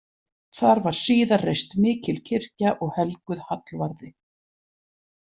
Þar var síðar reist mikil kirkja og helguð Hallvarði.